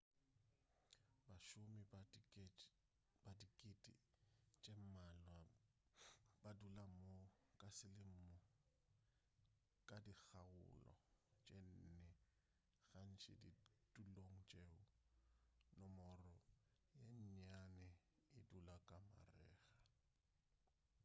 bašomi ba dikete tše mmalwa ba dula mo ka selemo ka dikgaolo tše nne gantši ditulong tšeo nomoro ye nnyane e dula ka marega